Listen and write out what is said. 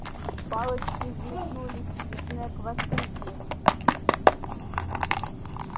палочки взметнулись и снегг воскликнул